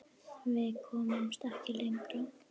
Við komumst ekki lengra.